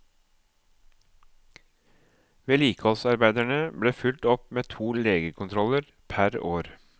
Vedlikeholdsarbeiderne blir fulgt opp med to legekontroller pr.